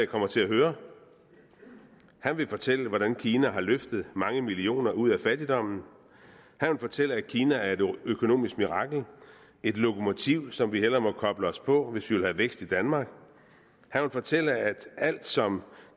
kommer til at høre han vil fortælle hvordan kina har løftet mange millioner ud af fattigdom han vil fortælle at kina er et økonomisk mirakel et lokomotiv som vi hellere må koble os på hvis vi vil have vækst i danmark han vil fortælle at alt som